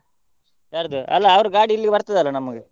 ಯಾರ್ದು, ಅಲ್ಲ ಅವರ್ ಗಾಡಿ ಇಲ್ಲಿಗೆ ಬರ್ತದಲ್ಲ ನಮ್ಗೆ.